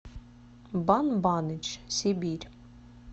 бан баныч сибирь